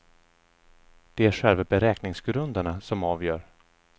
Det är själva beräkningsgrunderna som avgör.